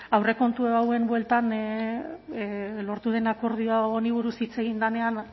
aurrekontu hauen bueltan lortu den akordio honi buruz hitz egin denean